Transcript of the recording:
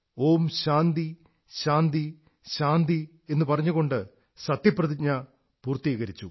ഓം ശാന്തിഃ ശാന്തിഃ ശാന്തിഃ എന്നു പറഞ്ഞുകൊണ്ട് ശപഥം പൂർത്തീകരിച്ചു